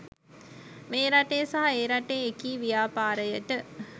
මේ රටේ සහ ඒ රටේ එකී ව්‍යාපාරයට